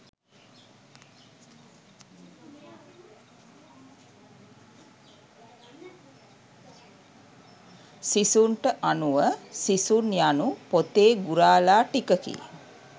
සිසුන්ට අනුව සිසුන් යනු පොතේ ගුරාලා ටිකකි